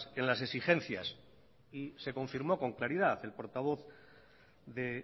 en las exigencias y se confirmó con claridad el portavoz de